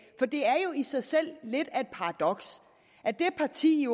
for det er jo i sig selv lidt af et paradoks at det parti